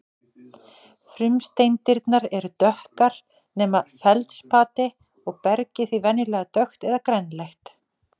Frumsteindirnar eru dökkar nema feldspatið og bergið því venjulega dökkt eða grænleitt.